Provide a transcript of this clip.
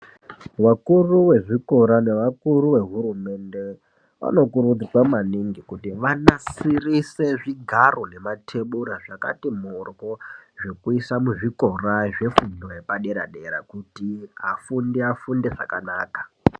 Vakuru vezvikora nevakuru vehurumende, vanokurudzirwa kuti vanasirise zvigaro nemathebura zvakati moryo, zvokuisa muzvikora zvefundo yepadera-dera, kuti afundi afunde zvakanaka.